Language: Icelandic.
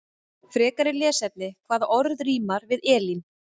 Frekara lesefni: Hvaða orð rímar við Elín?